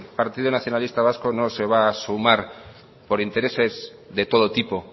partido nacionalista vasco no se va a sumar por intereses de todo tipo